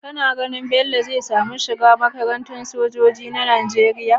Kana ganin bello zai samu shiga makaranta sojoji na nigeria?